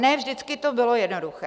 Ne vždy to bylo jednoduché.